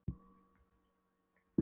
Stjána, sem stóð enn í dyrunum.